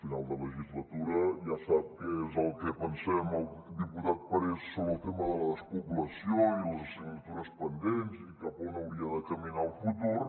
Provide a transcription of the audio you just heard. final de legislatura ja sap què és el que pensem el diputat parés sobre el tema de la despoblació i les assignatures pendents i cap on hauria de caminar el futur